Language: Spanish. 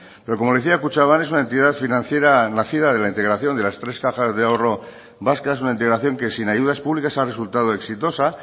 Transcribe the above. pero como le decía kutxabank es una entidad financiera nacida de la integración de las tres cajas de ahorro vascas una integración que sin ayudas públicas ha resultado exitosa